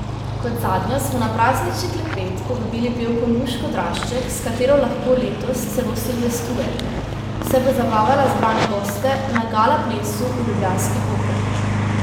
Kot zadnjo smo na praznični klepet povabili pevko Nuško Drašček, s katero lahko letos celo silvestrujete, saj bo zabavala zbrane goste na gala plesu v ljubljanski Operi.